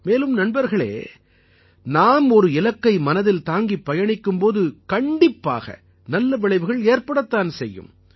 மேலும் நண்பர்களே நாம் ஒரு இலக்கை மனதில் தாங்கிப் பயணிக்கும் போது கண்டிப்பாக நல்ல விளைவுகள் ஏற்படத்தான் செய்யும்